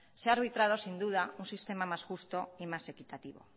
se ha arbitrado sin duda un sistema más justo y más equitativo